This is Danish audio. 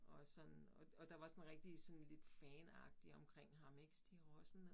Og sådan og og der var sådan rigtig sådan lidt fanagtig omkring ham ik Stig Rossen